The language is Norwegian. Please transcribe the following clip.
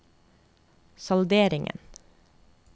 salderingen